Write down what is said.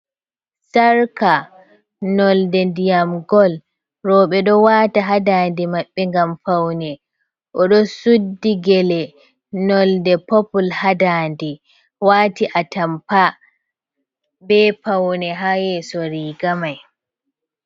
Sarka nolde ndiyam gol, robe do wata hadande maɓɓe gam faune o do suddi gele nolde popul hadande wati a tampa be paune ha yeso rigamai.